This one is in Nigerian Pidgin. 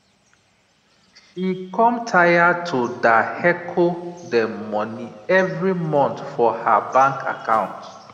she com taya to da hecho dem money evrey month for her bank account